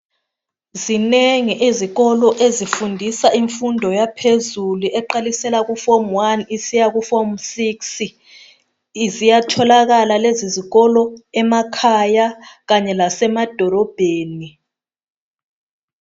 Zinengi izikolo ezifundisa imfundo yaphezulu eqalisela ku form one isiyaku form six ziyatholakala lezi zikolo emakhaya kanye lasemadolobheni.